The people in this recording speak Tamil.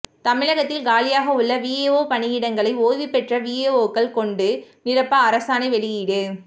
தமிழகத்தில் காலியாக உள்ள விஏஓ பணியிடங்களை ஓய்வுபெற்ற விஏஓக்கள் கொண்டு நிரப்ப அரசாணை வெளியீடு